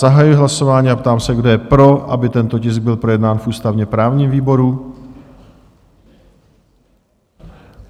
Zahajuji hlasování a ptám se, kdo je pro, aby tento tisk byl projednán v ústavně-právním výboru?